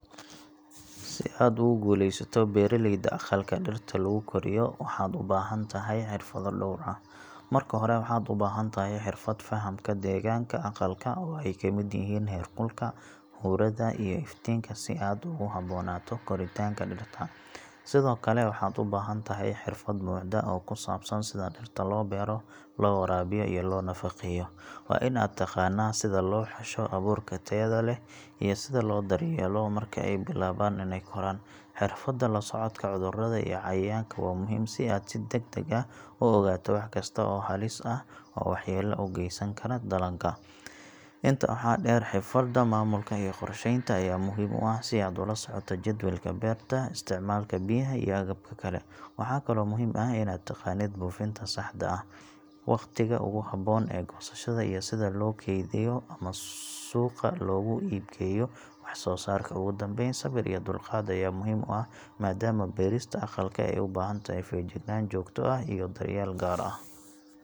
Si aad ugu guulaysato beeraleyda aqalka dhirta lagu koriyo, waxaad u baahan tahay xirfado dhowr ah. Marka hore waxaad u baahan tahay xirfad fahamka deegaanka aqalka oo ay ka mid yihiin heerkulka, huurada, iyo iftiinka si aad ugu habboonaato koritaanka dhirta. Sidoo kale waxaad u baahan tahay xirfad buuxda oo ku saabsan sida dhirta loo beero, loo waraabiyo, iyo loo nafaqeeyo. Waa inaad taqaannaa sida loo xusho abuurka tayada leh iyo sida loo daryeelo marka ay bilaabaan inay koraan. Xirfadda la socodka cudurrada iyo cayayaanka waa muhiim, si aad si degdeg ah u ogaato wax kasta oo halis ah oo waxyeello u geysan kara dalagga. Intaa waxaa dheer, xirfadda maamulka iyo qorsheynta ayaa muhiim u ah si aad ula socoto jadwalka beerta, isticmaalka biyaha, iyo agabka kale. Waxaa kaloo muhiim ah inaad taqaanid buufinta saxda ah, wakhtiga ugu habboon ee goosashada, iyo sida loo keydiyo ama suuqa loogu iibgeeyo wax-soosaarka. Ugu dambayn, sabir iyo dulqaad ayaa muhiim u ah maadaama beerista aqalka ay u baahan tahay feejignaan joogto ah iyo daryeel gaar ah.